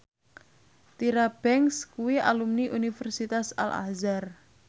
Tyra Banks kuwi alumni Universitas Al Azhar